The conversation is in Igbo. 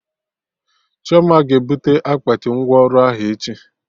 Chioma ga ebute akpati ngwa ọrụ ahụ echi